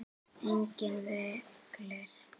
Einnig vellir.